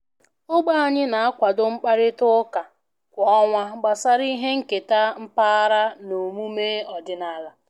Ogbe anyị na-akwado mkparịta ụka kwa ọnwa gbasara ihe nketa mpaghara na omume ọdịnala